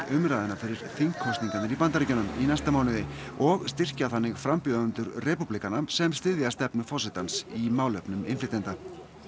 umræðuna fyrir þingkosningarnar í Bandaríkjunum í næsta mánuði og styrkja þannig frambjóðendur repúblikana sem styðja stefnu forsetans í málefnum innflytjenda